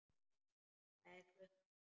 Það er klukkan okkar!